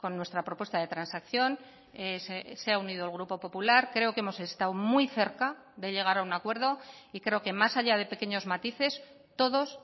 nuestra propuesta de transacción se ha unido el grupo popular creo que hemos estado muy cerca de llegar a un acuerdo y creo que más allá de pequeños matices todos